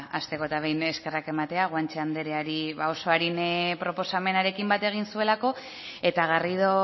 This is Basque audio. ba hasteko eta behin eskerrak ematea guanche andereari ba oso arin proposamenarekin bat egin zuelako eta garrido